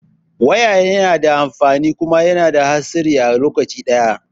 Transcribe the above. Waya yana da amfani kuma yana da hatsari a lokaci ɗaya